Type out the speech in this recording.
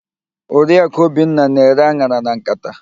Oriakụ Obinna na-ere an̄ara na nkata.